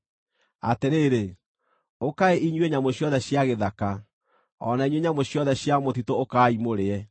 Atĩrĩrĩ, ũkaai inyuĩ nyamũ ciothe cia gĩthaka, o na inyuĩ nyamũ ciothe cia mũtitũ ũkaai mũrĩe!